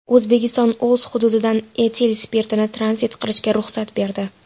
O‘zbekiston o‘z hududidan etil spirtini tranzit qilishga ruxsat berdi.